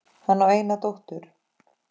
Hann á eina dóttur.